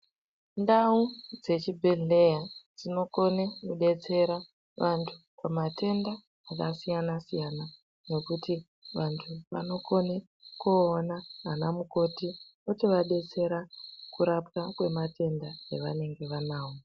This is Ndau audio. Ndau dzechibhedhleya dzinokone kudetsere antu pamatenda akasiyana siyana ngekuti antu anokone kuona ana mukoti otovadetsera kurapiwa kwematenda avanenge vanawo .